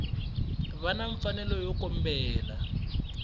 va na mfanelo yo kombela